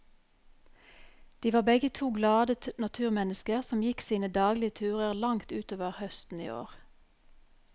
De var begge to glade naturmennesker som gikk sine daglige turer langt utover høsten i år.